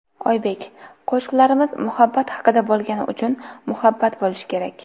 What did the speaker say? Oybek: Qo‘shiqlarimiz muhabbat haqida bo‘lgani uchun muhabbat bo‘lishi kerak.